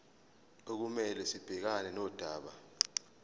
okumele sibhekane nodaba